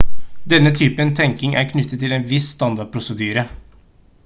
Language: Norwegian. denne typen tenkning er knyttet til en viss standardprosedyre